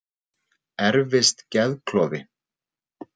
Erfist geðklofi?